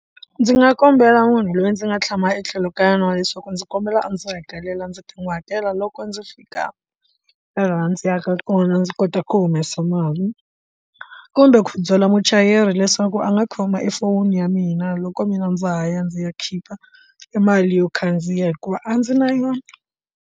Ndzi nga kombela munhu loyi ndzi nga tshama etlhelo ka yona wa leswaku ndzi kombela a ndzi hakelela ndzi ta n'wi hakela loko ndzi fika laha ndzi yaka kona ndzi kota ku humesa mali hi kumbe ku byala muchayeri leswaku a nga khoma efonini ya mina loko mina ndza ha ya ndzi ya khipha mali yo khandziya hikuva a ndzi na yona.